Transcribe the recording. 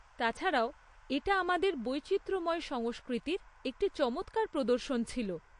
তাছাড়াও এটা আমাদের বৈচিত্র্যময় সংস্কৃতির একটি চমৎকার প্রদর্শন ছিল।